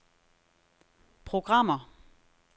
programmer